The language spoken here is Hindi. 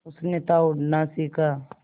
उसने था उड़ना सिखा